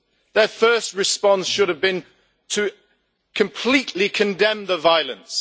Their first response should have been to completely condemn the violence.